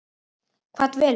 Hvað dvelur?